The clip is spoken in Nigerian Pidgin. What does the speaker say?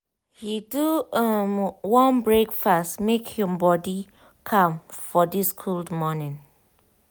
he do um warm breakfast make him body calm for this cold morning.